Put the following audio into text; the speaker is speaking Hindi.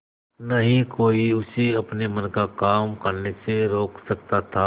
न ही कोई उसे अपने मन का काम करने से रोक सकता था